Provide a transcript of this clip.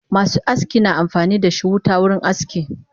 Masu aski na amfanidashi wuta wurin aski